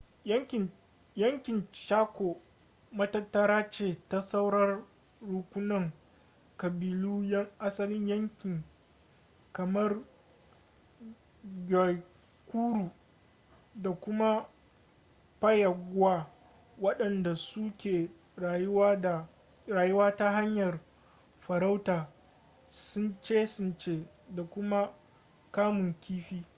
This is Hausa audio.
yankin chaco matattara ce ta sauran rukunan ƙabilu 'yan asalin yanki kamar guaycuru da kuma payagua waɗanda su ke rayuwa ta hanyar farauta tsince-tsince da kuma kamun kifi